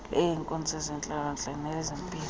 eleenkonzo zentlalontle nelezempilo